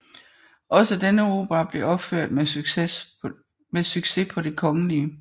Også denne opera blev opført med succes på Det Kgl